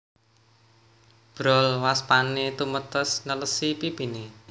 Brol waspané tumetes nelesi pipiné